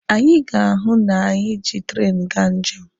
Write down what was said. Anyị ga-ahụ na anyị ji treenụ gaa njem.